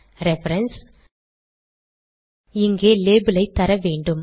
reference இங்கே label ஐ தர வேண்டும்